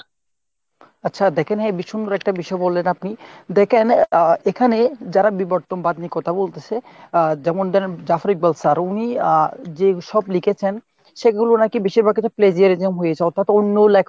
আচ্ছা দ্যাখেন হেব্বি সুন্দর একটা বিষয় বললেন আপনি। দ্যাখেন আহ এখানে যারা বিবর্তনবাদ নিয়ে কথা বলতেছে আহ যেমন ধরেন Jafri Balsar। উনি আহ যেসব লিখেছেন সেগুলো নাকি বেশিরভাগই সব plagiarism হয়েছে। অর্থ্যাৎ অন্য